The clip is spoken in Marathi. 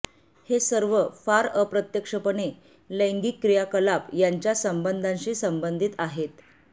हे सर्व फार अप्रत्यक्षपणे लैंगिक क्रियाकलाप यांच्या संबंधाशी संबंधित आहेत